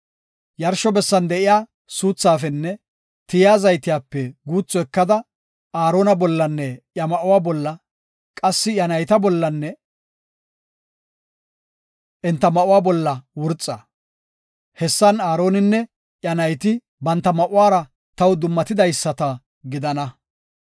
Yarsho bessan de7iya suuthaafenne tiyiya zaytiyape guuthu ekada, Aarona bollanne iya ma7uwa bolla, qassika iya nayta bollanne enta ma7uwa bolla wurxa. Hessan Aaroninne iya nayti banta ma7uwara taw dummatidaysata gidana.